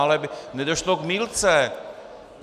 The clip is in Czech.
Ale aby nedošlo k mýlce.